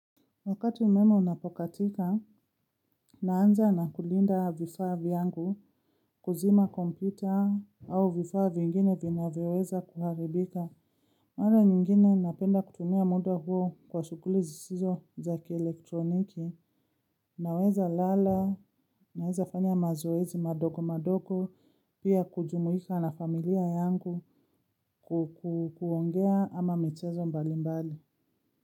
Wakati umeme unapokatika, naanza na kulinda vifaa vyangu kuzima kompita au vifaa vingin vinavyoweza kuharibika. Mara nyingine napenda kutumia muda huo kwa shughuli zisizo za ki elektroniki, naweza lala, naweza fanya mazoezi madogo madogo, pia kujumuika na familia yangu kukuongea ama michezo mbali mbali.